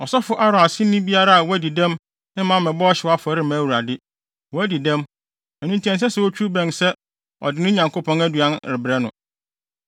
Ɔsɔfo Aaron aseni biara a wadi dɛm mma mmɛbɔ ɔhyew afɔre mma Awurade. Wadi dɛm, ɛno nti ɛnsɛ sɛ otwiw bɛn sɛ ɔde ne Nyankopɔn aduan rebrɛ no.